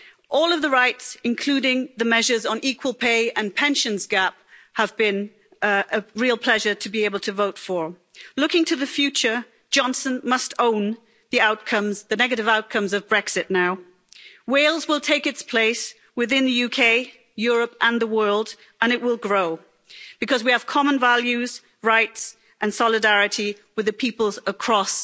All of the rights, including the measures on equal pay and the pensions gap, have been a real pleasure to be able to vote for. Looking to the future, Johnson must own the negative outcomes of Brexit now. Wales will take its place within the UK, Europe and the world and it will grow because we have common values, rights and solidarity with the peoples across